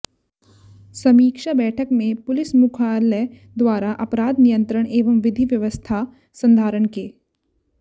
समीक्षा बैठक में पुलिस मुख्यालय द्वारा अपराध नियंत्रण एवं विधि व्यवस्था संधारण के